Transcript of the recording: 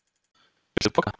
Viltu poka?